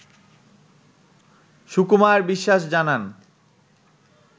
সুকুমার বিশ্বাস জানান